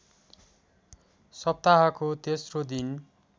सप्ताहको तेस्रो दिन